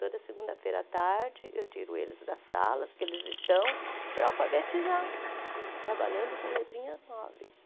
Toda segunda-feira à tarde eu tiro eles das salas que eles estão para alfabetizar, trabalhando com letrinhas móveis.